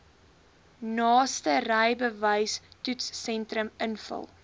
naaste rybewystoetssentrum invul